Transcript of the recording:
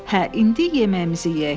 Hə, indi yeməyimizi yeyək.